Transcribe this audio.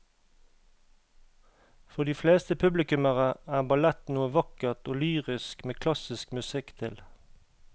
For de fleste publikummere er ballett noe vakkert og lyrisk med klassisk musikk til.